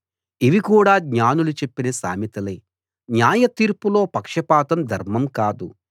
ఇవి కూడా జ్ఞానులు చెప్పిన సామెతలే న్యాయ తీర్పులో పక్షపాతం ధర్మం కాదు